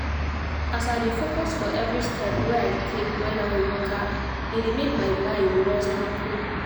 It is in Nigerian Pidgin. as i dey focus for every step wey i take when i waka e dey make my mind rest and cool